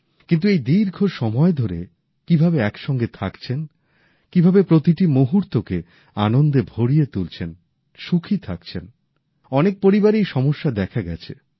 কিন্তু এই দীর্ঘ সময় ধরে কিভাবে একসঙ্গে থাকছেন কীভাবে প্রতিটি মুহূর্তকে আনন্দে ভরিয়ে তুলছেন সুখী থাকছেন অনেক পরিবারেই সমস্যা দেখা গেছে